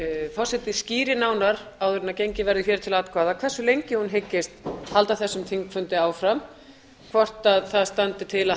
forseti skýri nánar áður en gengið verður hér til atkvæða hversu lengi hún hyggist halda þessum þingfundi áfram hvort það standi til að